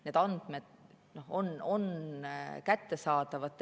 Need andmed on Terviseametile kättesaadavad.